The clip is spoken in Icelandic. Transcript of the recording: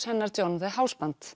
hennar John the